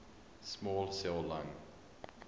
small cell lung